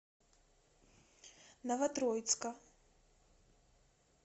новотроицка